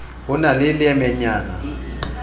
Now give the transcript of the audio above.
ho e na le leemenyana